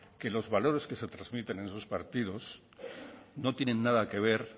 que los valores que se transmiten en esos partidos no tienen nada que ver